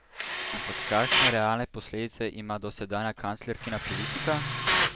Ampak kakšne realne posledice ima dosedanja kanclerkina politika?